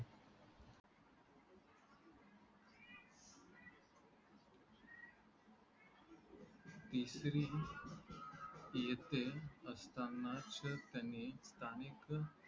तिसरी येथे असताना त्यांनी स्थानिक